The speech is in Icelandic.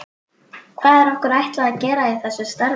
Hvað er okkur ætlað að gera í þessu starfi?